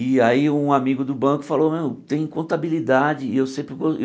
E aí um amigo do banco falou, meu, tem contabilidade. E eu sempre